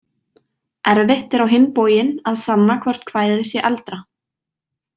Erfitt er á hinn bóginn að sanna hvort kvæðið sé eldra.